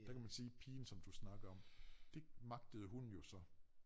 Der kan man sige pigen som du snakkede om dét magtede hun jo så